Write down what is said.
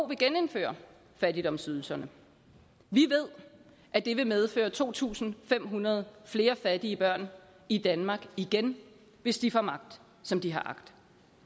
vil genindføre fattigdomsydelserne vi ved at det vil medføre to tusind fem hundrede flere fattige børn i danmark igen hvis de får magt som de har agt